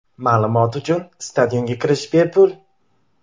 Ma’lumot uchun stadionga kirish bepul.